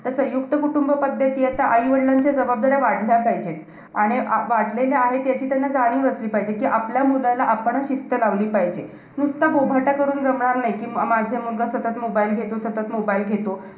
तर संयुक्त कुटुंबपद्धती आता आई वडिलांच्या जबाबदाऱ्या वाढल्या पाहिजेत. आणि अं वाढलेल्या आहेत. याची त्यांना जाणीव असली पाहिजे, कि आपल्या मुलांना आपणचं शिस्त लावली पाहिजे. नुसता बोभाटा करून जमणार नाही. कि अं माझा मुलगा सतत mobile घेतो. सतत mobile घेतो.